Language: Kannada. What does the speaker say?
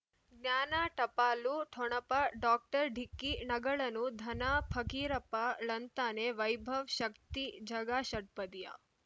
ಜ್ಞಾನ ಟಪಾಲು ಠೊಣಪ ಡಾಕ್ಟರ್ ಢಿಕ್ಕಿ ಣಗಳನು ಧನ ಫಕೀರಪ್ಪ ಳಂತಾನೆ ವೈಭವ್ ಶಕ್ತಿ ಝಗಾ ಷಟ್ಪದಿಯ